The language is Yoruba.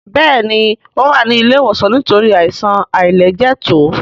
Béèni o wá ní ilé ìwòsan nítorí Àìsàn àìlẹjẹtó.